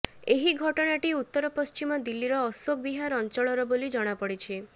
ଏହି ଘଟଣାଟି ଉତ୍ତର ପଶ୍ଚିମ ଦିଲ୍ଲୀର ଆଶୋକ ବିହାର ଅଞ୍ଚଳର ବୋଲି ଜଣାପଡ଼ିଛି